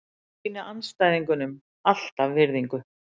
Ég sýni andstæðingunum alltaf virðingu.